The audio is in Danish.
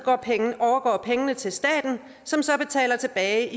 overgår pengene til staten som så betaler tilbage